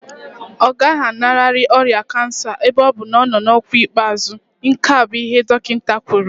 Ọ gaghị alanarị ọrịa kansa ebe ọ bụ na ọ nọ n'ọkwa ikpeazụ, nke a bụ ihe dọkịta kwuru